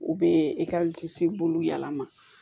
U bɛ bulu yɛlɛma